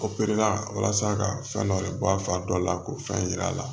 walasa ka fɛn dɔ de bɔ a fa dɔ la k'o fɛn yir'a la